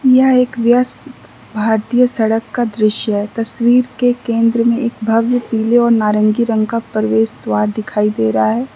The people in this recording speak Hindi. यह एक व्यस्त भारतीय सड़क का दृश्य है तस्वीर के केंद्र में एक भव्य पीले और नारंगी रंग का प्रवेश द्वार दिखाई दे रहा है।